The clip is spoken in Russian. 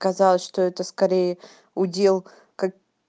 казалось что это скорее удел как